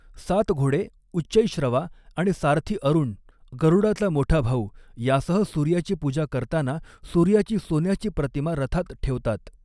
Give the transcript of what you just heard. सात घोडे उच्चैःश्रवा आणि सारथी अरुण गरूडाचा मोठा भाऊ यांसह सूर्याची पूजा करताना सूर्याची सोन्याची प्रतिमा रथात ठेवतात.